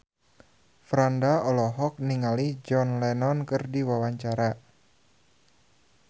Franda olohok ningali John Lennon keur diwawancara